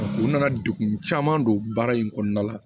U nana degun caman don baara in kɔnɔna la